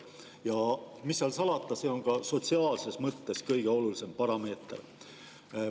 Ja mis seal salata, see on ka sotsiaalses mõttes kõige olulisem parameeter.